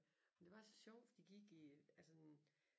Men det var så sjovt for de gik i altså